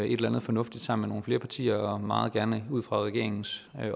et eller andet fornuftigt sammen med nogle flere partier og meget gerne ud fra regeringens